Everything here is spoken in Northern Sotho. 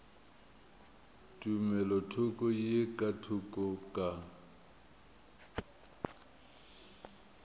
tumelothoko ye ka thoko ka